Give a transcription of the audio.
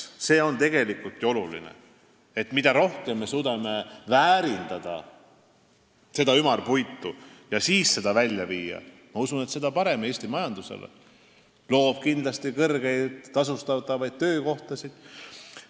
See on tegelikult ju oluline: mida rohkem me suudame ümarpuitu väärindada ja seda siis välja viia, seda parem Eesti majandusele, sest see loob kindlasti kõrgelt tasustatud töökohtasid.